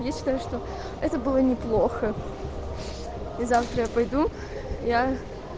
я считаю что это было неплохо и завтра я пойду я